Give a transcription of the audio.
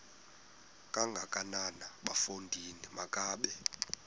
kangakanana bafondini makabe